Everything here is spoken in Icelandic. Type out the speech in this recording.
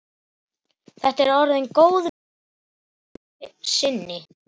Þetta er orðin góð viðdvöl að sinni.